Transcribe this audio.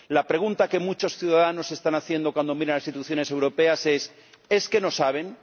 La pregunta que muchos ciudadanos se están haciendo cuando miran a las instituciones europeas es ¿Es que no saben?,